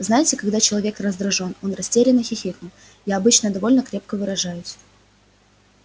знаете когда человек раздражён он растерянно хихикнул я обычно довольно крепко выражаюсь